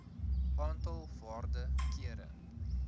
aantal waarde kere